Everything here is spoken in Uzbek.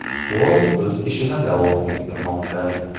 Forum o‘z ishini davom ettirmoqda.